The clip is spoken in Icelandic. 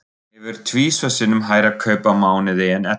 Hann hefur tvisvar sinnum hærra kaup á mánuði en Edda.